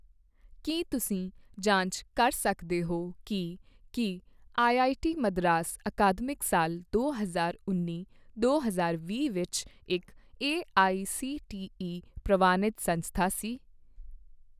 ਕੀ ਤੁਸੀਂ ਜਾਂਚ ਕਰ ਸਕਦੇ ਹੋ ਕੀ ਕੀ ਆਈਆਈਟੀ ਮਦਰਾਸ ਅਕਾਦਮਿਕ ਸਾਲ ਦੋ ਹਜ਼ਾਰ ਉੱਨੀ ਦੋ ਹਜ਼ਾਰ ਵੀਹ ਵਿੱਚ ਇੱਕ ਏਆਈਸੀਟੀਈ ਪ੍ਰਵਾਨਿਤ ਸੰਸਥਾ ਸੀ?